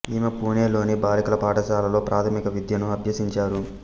ఈమె పూణె లోని బాలికల పాఠశాలలో ప్రాథమిక విద్యను అభ్యసించారు